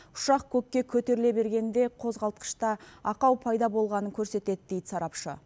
ұшақ көкке көтеріле бергенде қозғалтқышта ақау пайда болғанын көрсетеді дейді сарапшы